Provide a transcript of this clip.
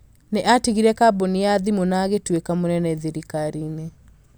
nĩ aatigire kambuni ya thimũ na agĩtuĩka mũnene thirikari-inĩ